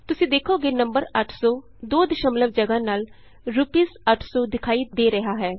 ਤੁਸੀਂ ਦੇਖੋਗੇ ਨੰਬਰ 800 ਦੋ ਦਸ਼ਮਲਵ ਜਗਾਹ ਨਾਲ ਰੂਪੀਸ 800 ਦਿਖਾਈ ਦੇ ਰਿਹਾ ਹੈ